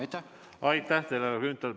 Aitäh teile, härra Grünthal!